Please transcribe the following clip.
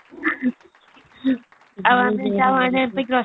ଆଉ ଆମେ ଯାଉ ଆଣିବାକୁ